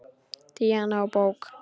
Díana úr bók.